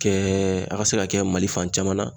Kɛ a ka se ka kɛ Mali fan caman na.